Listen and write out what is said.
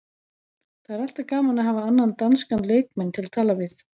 Það er alltaf gaman að hafa annan danskan leikmann til að tala við.